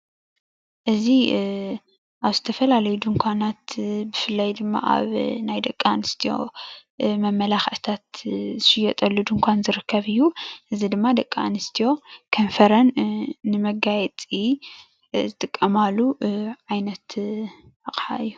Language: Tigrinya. እዚ ምስሊ ናይ ደቂ አንስትዮ ናይ ከንፈር መጋየፂ እዩ።